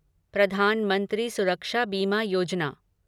प्रधान मंत्री सुरक्षा बीमा योजना